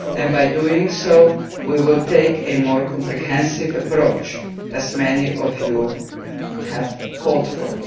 By doing so, we will take a more comprehensive approach, which many of you have called for.